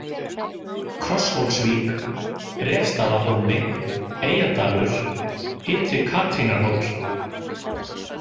Krosshólsvík, Refsstaðahólmi, Eyjadalur, Ytri-Katrínarhóll